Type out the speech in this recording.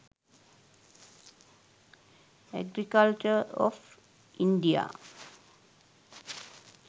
agriculture of india